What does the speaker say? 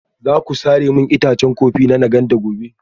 Za ku sare min itacen kofi na Nganda gobe?